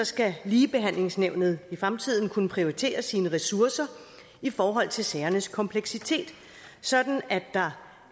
skal ligebehandlingsnævnet i fremtiden kunne prioritere sine ressourcer i forhold til sagernes kompleksitet sådan at der